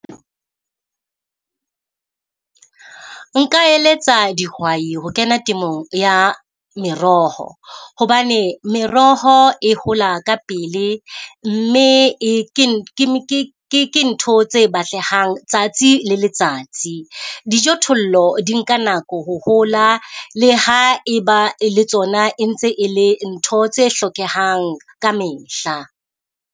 Nka eletsa dihwai ho kena temong ya meroho. Hobane meroho e hola ka pele, mme e ke ke ke ntho tse batlehang tsatsi le letsatsi. Dijothollo di nka nako ho hola le ha e ba le tsona e ntse e le ntho tse hlokehang ka mehla.